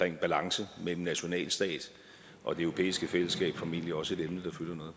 en balance mellem nationalstat og det europæiske fællesskab formentlig også et emne